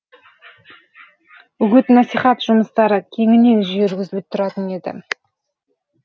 үгіт насихат жұмыстары кеңінен жүргізіліп тұратын еді